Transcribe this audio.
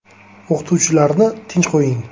O‘qituvchilarni tinch qo‘ying”.